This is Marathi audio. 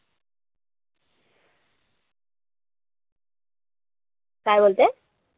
काय बोलतेय?